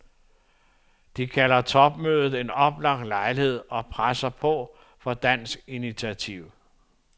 De kalder topmødet en oplagt lejlighed og presser på for dansk initiativ.